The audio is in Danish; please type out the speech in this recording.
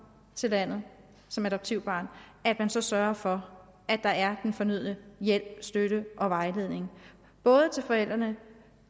til landet som adoptivbarn sørger for at der er den fornødne hjælp støtte og vejledning både til forældrene